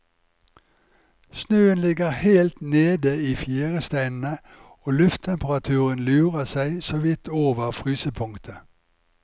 Snøen ligger helt nede i fjæresteinene og lufttemperaturen lurer seg så vidt over frysepunktet.